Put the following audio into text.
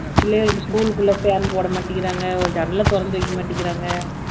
பிள்ளைகளுக்கு school க்கு உள்ளே fan போட மாட்டேங்கறாங்க ஒரு ஜன்னலைத் திறந்து வைக்க மாட்டேங்கறாங்க